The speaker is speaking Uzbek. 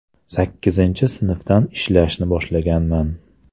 Sakkizinchi sinfdan ishlashni boshlaganman.